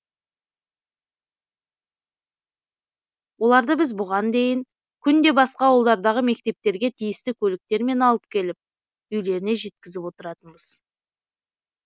оларды біз бұған дейін күнде басқа ауылдардағы мектептерге тиісті көліктермен алып келіп үйлеріне жеткізіп отыратынбыз